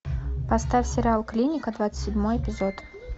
поставь сериал клиника двадцать седьмой эпизод